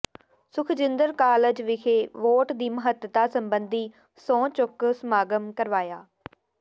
Sukhjinder college ਵਿਖੇ vote ਦੀ ਮਹੱਤਤਾ ਸਬੰਧੀ ਸਹੁੰ ਚੁੱਕ ਸਮਾਗਮ ਕਰਵਾਇਆ